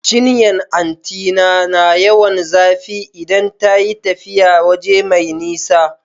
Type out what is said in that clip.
Cinyan anti na na yawan zafe ta idan ta yi tafiya waje mai nisa